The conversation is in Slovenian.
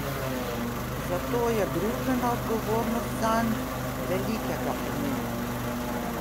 Zato je družbena odgovornost zanj velikega pomena.